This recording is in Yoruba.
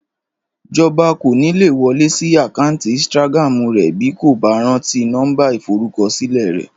Jọba kò ní lè wọlé sí àkáǹtì Instagram rẹ̀ bí kò bá rántí nọ́mbà ìforúkọsílẹ̀ rẹ̀